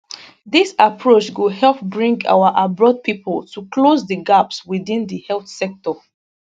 dis approach go help bring our abroad pipo to close di gaps within di health sector